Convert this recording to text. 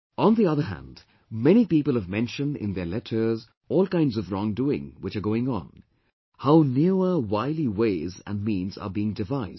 On the other hand, many people have mentioned in their letters all kinds of wrongdoing which are going on; how newer wily ways and means are being devised